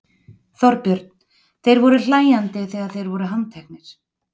Þorbjörn: Þeir voru hlæjandi þegar þeir voru handteknir?